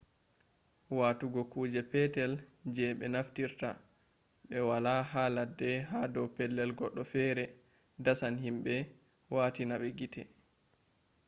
watugo kuje petel je ɓe naftirta ɓe waala ha ladde ha dow pellel goɗɗo fere dasan himɓe watina ma gite